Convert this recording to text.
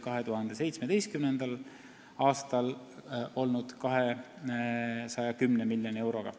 2017. aastal oli see maht 210 miljonit eurot.